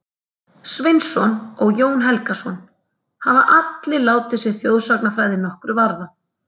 Sveinsson og Jón Helgason, hafa allir látið sig þjóðsagnafræði nokkru varða.